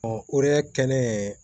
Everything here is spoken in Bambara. o de ye kɛnɛ